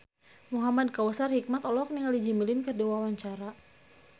Muhamad Kautsar Hikmat olohok ningali Jimmy Lin keur diwawancara